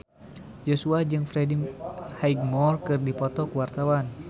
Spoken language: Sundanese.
Joshua jeung Freddie Highmore keur dipoto ku wartawan